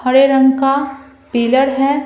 हरे रंग का पिलर है।